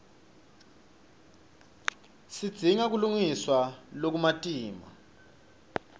sidzinga kulungiswa lokumatima